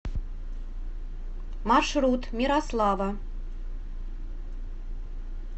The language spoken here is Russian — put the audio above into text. маршрут мирослава